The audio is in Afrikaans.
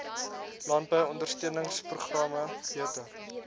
landbou ondersteuningsprogramme beter